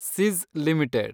Sis limited